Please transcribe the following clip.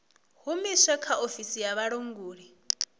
humusilwe kha ofisi ya vhulanguli